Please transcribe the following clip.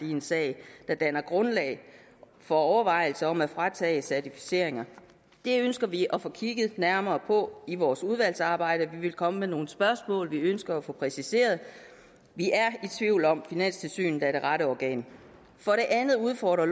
i en sag der danner grundlag for overvejelser om at fratage certificeringer det ønsker vi at få kigget nærmere på i vores udvalgsarbejde og vi vil komme med nogle spørgsmål vi ønsker at få præciseret vi er i tvivl om hvorvidt finanstilsynet er det rette organ for det andet udfordrer